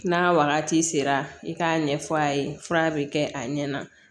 N'a wagati sera i k'a ɲɛfɔ a ye fura bɛ kɛ a ɲɛna